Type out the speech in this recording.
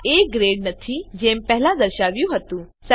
આ એ ગ્રેડ નથી જેમ પહેલાં દર્શાવ્યું હતું